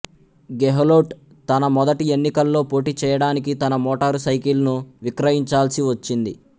గెహ్లోట్ తన మొదటి ఎన్నికల్లో పోటీ చేయడానికి తన మోటారు సైకిల్ ను విక్రయించాల్సి వచ్చింది